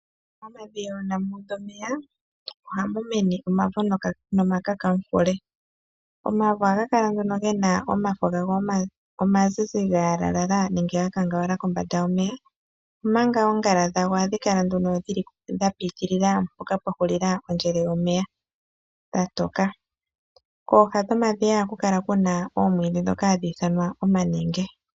Momadhiya uuna mu udha omeya ohamu mene omavo nomakakamufule. Omavo ohaga kala nduno ge na omafo gago omazizi ga yalalala nenge ga kangawala kombanda yomeya, omanga oongala dhadho ohadhi kala dha piitilila mpoka pwa hulila ondjele yomeya dha toka. Kooha dhomadhiya ohaku kala ku na oomwiidhi ndhoka hadhi ithanwa omanenge.